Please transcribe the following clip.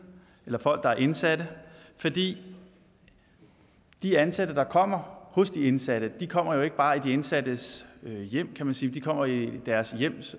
folk der er indsatte for de de ansatte der kommer hos de indsatte kommer ikke bare i de indsattes hjem kan man sige men de kommer i deres hjem